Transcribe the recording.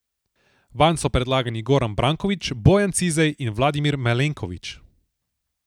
Vanj so predlagani Goran Brankovič, Bojan Cizej in Vladimir Malenković.